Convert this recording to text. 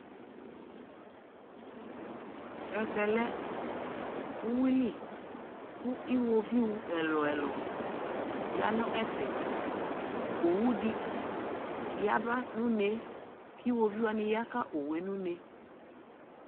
ɛvɛ lɛ ʋwili kʋ iwɔviʋ ɛlʋɛlʋ yanʋ ɛƒɛ, ɔwʋdi yaba nʋ ʋnɛ kʋiwɔviʋ wani yaka ɔwʋɛ nʋ ʋnɛ